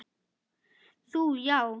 Þú já.